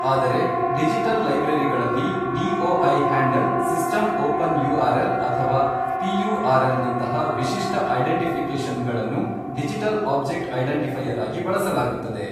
ಆದರೆ ಡಿಜಿಟಲ್ ಲೈಬ್ರರಿಗಳಲ್ಲಿ DOI handle system open URL ಅಥವಾ ಪಿಯುಆರ್ ಎಲ್ ನಂತಹ ವಿಶಿಷ್ಟ ಐಡೆಂಟಿಫಿಕೇಶನ್ ಗಳನ್ನು ಡಿಜಿಟಲ್ ಆಬ್ಜೆಕ್ಟ್ ಐಡೆಂಟಿಫೈಯರ್ ಆಗಿ ಬಳಸಲಾಗುತ್ತದೆ.